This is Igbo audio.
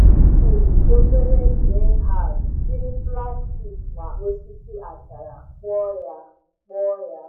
M wuru obere greenhouse jiri plastik na osisi achara kpụọ ya. kpụọ ya.